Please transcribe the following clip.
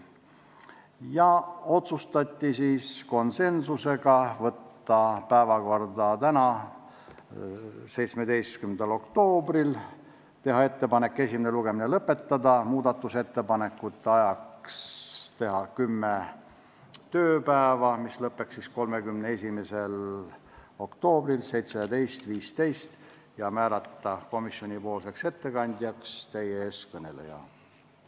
Konsensuslikult otsustati saata eelnõu päevakorda tänaseks, 17. oktoobriks, teha ettepanek esimene lugemine lõpetada, muudatusettepanekute esitamise tähtajaks määrata kümme tööpäeva ja komisjoni ettekandjaks määrata teie ees kõneleja.